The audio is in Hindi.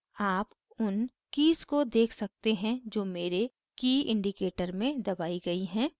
आप उन कीज़ को देख सकते हैं जो मेरे की indicator में दबाई गयी हैं